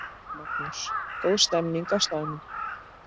Magnús: Góð stemning á staðnum?